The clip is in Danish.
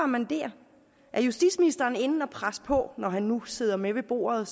man der er justitsministeren inde at presse på når han nu sidder med ved bordet